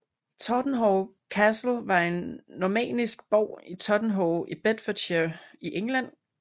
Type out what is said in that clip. Totternhoe Castle var en normannisk borg i Totternhoe i Bedfordshire i England